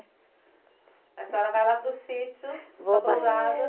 A senhora vai lá para o sítio, para a pousada.